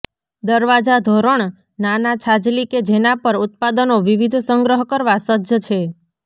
દરવાજા ધોરણ નાના છાજલી કે જેના પર ઉત્પાદનો વિવિધ સંગ્રહ કરવા સજ્જ છે